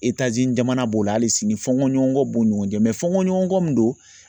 jamana b'o la hali sini fɔɲɔgɔnkɔ b'o ɲɔgɔn jɛ fɔɲɔgɔnkɔ min don